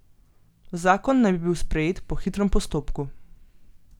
Zakon naj bi bil sprejet po hitrem postopku.